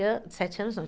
sete anos, não.